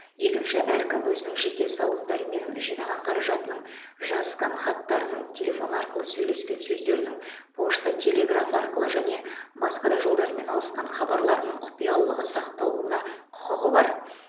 екінші әркім өзінің жеке салымдары мен жинаған қаражатының жазысқан хаттарының телефон арқылы сөйлескен сөздерінің пошта телеграф арқылы және басқа жолдармен алысқан хабарларының құпиялылығы сақталуына құқығы бар